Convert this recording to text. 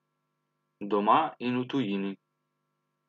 Doma in v tujini.